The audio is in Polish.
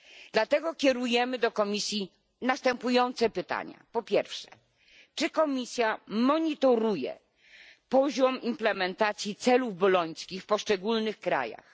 Dlatego kierujemy do Komisji następujące pytania po pierwsze, czy Komisja monitoruje poziom implementacji celów bolońskich w poszczególnych krajach?